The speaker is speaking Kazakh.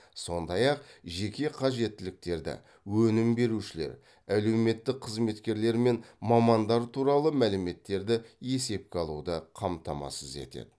сондай ақ жеке қажеттіліктерді өнім берушілер әлеуметтік қызметкерлер мен мамандар туралы мәліметтерді есепке алуды қамтамасыз етеді